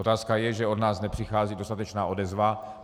Otázka je, že od nás nepřichází dostatečná odezva.